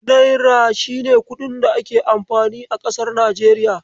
Naira shine kuɗin da ake amfani a kasar Nijeriya.